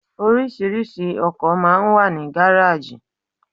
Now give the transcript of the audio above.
Orísìírísìí ọkọ̀ máa ń wà ní gáráàjì.